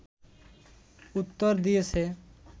উত্তর দিয়েছে